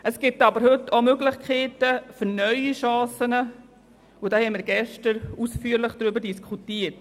Es gibt heute aber auch Möglichkeiten für neue Chancen, und wir haben gestern ausführlich darüber diskutiert.